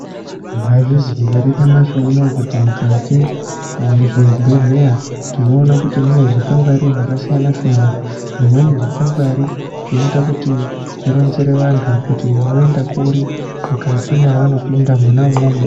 Mwaizviziya ere kuti nyamashi unowu mukati mwezvebhedhleya ,tinoona kuti mune zvikwangwari zvakasiyana-siyana? Zvimweni zvikwangwari zvinoita kuti zvinoronzere vantu kuti voenda kuri, mukati mwavanopinda mwona umwomwo.